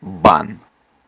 бан